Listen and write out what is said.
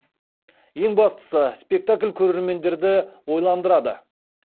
ең бастысы спектакль көрермендерді ойландырады